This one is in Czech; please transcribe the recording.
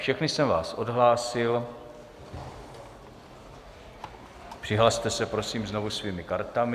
Všechny jsem vás odhlásil, přihlaste se prosím znovu svými kartami.